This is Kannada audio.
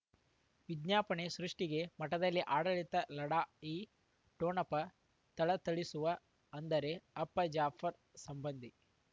ವಿಜ್ಞಾಪನೆ ಸೃಷ್ಟಿಗೆ ಮಠದಲ್ಲಿ ಆಡಳಿತ ಲಢಾ ಯಿ ಠೊಣಪ ಥಳಥಳಿಸುವ ಅಂದರೆ ಅಪ್ಪ ಜಾಫರ್ ಸಂಬಂಧಿ